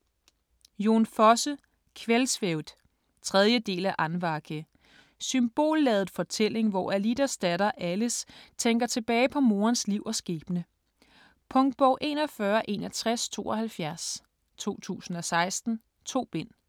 Fosse, Jon: Kveldsvævd 3. del af Andvake. Symbolladet fortælling, hvor Alidas datter Ales tænker tilbage på morens liv og skæbne. Punktbog 416172 2016. 2 bind.